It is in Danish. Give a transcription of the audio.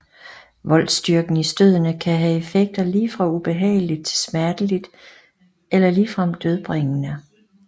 Voltstyrken i stødene kan have effekter lige fra ubehageligt til smerteligt eller ligefrem dødbringende